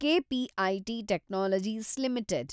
KPIT technologies limited